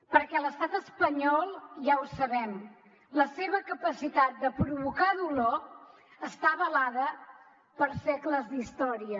perquè l’estat espanyol ja ho sabem la seva capacitat de provocar dolor està avalada per segles d’història